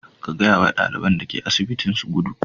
Ka gaya wa ɗaliban da ke asibitin su gudu.